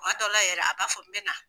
Kuma dɔw la yɛrɛ ,a b'a fɔ ko n bɛ na.